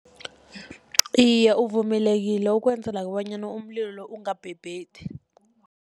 Iye, uvumelekile ukwenzela bonyana umlilo lo ungabhebhethi.